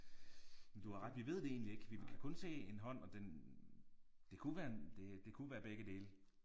Men du har ret vi ved det egentlig ikke vi kan kun se en hånd og den det kunne være en det det kunne være begge dele